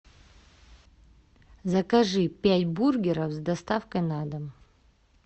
закажи пять бургеров с доставкой на дом